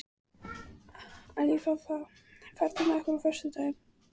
Alfífa, ferð þú með okkur á föstudaginn?